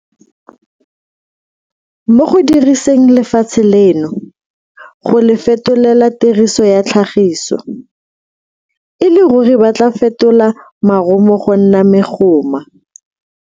Mo go diriseng lefatshe leno, go le fetolela tiriso ya tlhagiso, e le ruri ba tla fetola marumo go nna megoma.